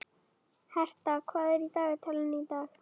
Hertha, hvað er í dagatalinu í dag?